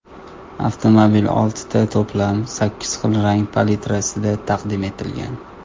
Avtomobil oltita to‘plam, sakkiz xil rang palitrasida taqdim etilgan.